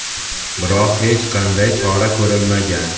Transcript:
biroq hech qanday chora ko‘rilmagan.